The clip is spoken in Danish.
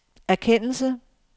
erkendelse